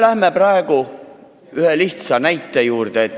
Läheme praegu ühe lihtsa näite juurde.